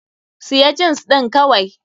Siya jins ɗin kawai!